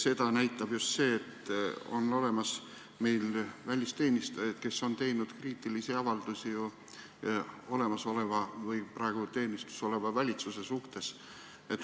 Seda näitab just see, et meil on olemas välisteenistujaid, kes on teinud kriitilisi avaldusi praegu ametis oleva valitsuse kohta.